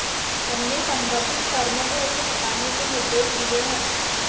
हमने संबंधित फर्म को उसे हटाने के निर्देश दिए हैं